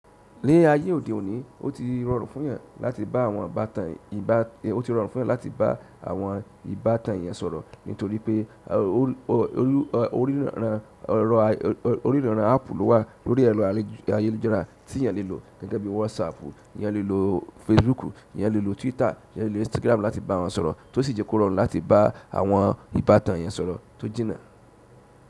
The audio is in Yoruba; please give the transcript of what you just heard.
Ni ayé òde òní oti rọrùn fún yan. Ó ti rọrùn fún èyàn láti bá àwọn ìbátan eyan sọ̀rọ̀ nítorí pé oríran áàpù ló wà lórí ẹ̀rọ ayélujára tí èyàn lè lò gẹ́gẹ́ bí WhatsApp, èyàn lè lò Facebook, èyàn lè lò Twitter, èyàn lè lò Instagram láti bá wọn sọ̀rọ̀ tó sì jẹ kó rọrùn láti bá àwọn ìbátan yan sọ̀rọ̀ tó jìnnà.